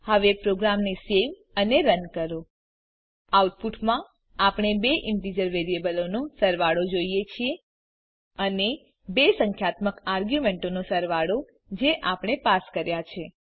હવે પ્રોગ્રામને સેવ અને રન કરો આઉટપુટમાં આપણે બે ઈન્ટીજર વેરીએબલોનો સરવાળો જોઈએ છીએ અને બે સંખ્યાત્મક આર્ગ્યુમેંટોનો સરવાળો જે આપણે પાસ કર્યા છે